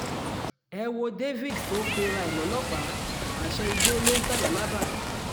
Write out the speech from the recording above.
ẹ wo david tó ń pera ẹ̀ lọ́lọ́pàá àṣẹ igbó ló ń ta làlábà